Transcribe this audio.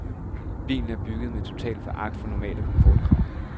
Bilen er bygget med total foragt for normale komfortkrav.